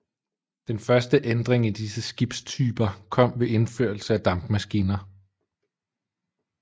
Den første ændring i disse skibstyper kom ved indførelse af dampmaskiner